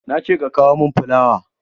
Na ce ka kawo mun fulawa!